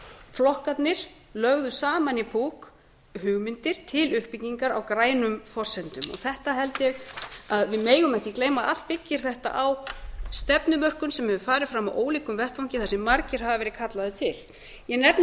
flokkarnir lögðu saman í hugmyndir til uppbyggingar á grænum forsendum þessu held ég að við megum ekki gleyma allt byggir þetta á stefnumörkun sem hefur farið fram á ólíkum vettvangi þar sem margir hafa verið kallaðir til ég nefni